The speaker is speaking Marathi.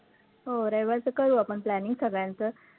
हो, रविवारचं कळवू आपण planning सगळ्यांचं